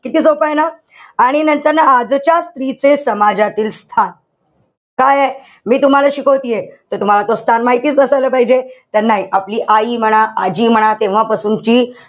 किती सोपंय ना? आणि नंतर ना, आजच्या स्त्रीचे समाजातील स्थान. काये? मी तुम्हाला शिकवतिये. त तुम्हाला स्थान माहितीच असायला पाहिजे. तर नाही. आपली आई म्हणा आजी म्हणा, तेव्हापासूनची,